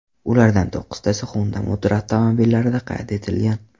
Ulardan to‘qqiztasi Honda Motor avtomobillarida qayd etilgan.